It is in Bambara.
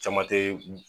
Caman te